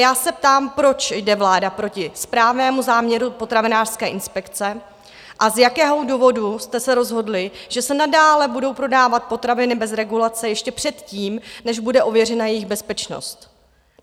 Já se ptám, proč jde vláda proti správnému záměru potravinářské inspekce a z jakého důvodu jste se rozhodli, že se nadále budou prodávat potraviny bez regulace ještě předtím, než bude ověřena jejich bezpečnost?